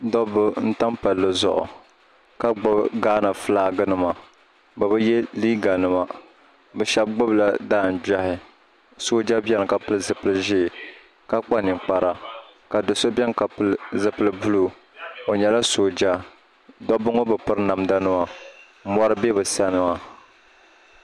dɔbba n-tam palli zuɣu ka gbubi ghana filaginima bɛ bi ye liiganima bɛ shɛba gbubila daangbɛhi sooja bɛni ka pili zipil' ʒee ka kpa ninkpara ka do' so bɛni ka pili zipil' buluu o nyɛla sooja dɔbba ŋɔ bi piri namdanima mɔri be bɛ sani maa